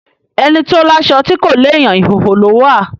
Ẹni tó láṣọ tí kò lééyàn, ìhóhò ló wà.